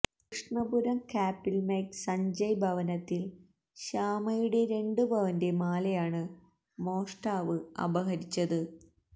കൃഷ്ണപുരം കാപ്പില്മേക്ക് സഞ്ജയ് ഭവനത്തില് ശ്യാമയുടെ രണ്ട് പവന്റെ മാലയാണ് മോഷ്ടാവ് അപഹരിച്ചത്